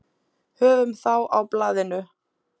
Höfum þá á blaðinu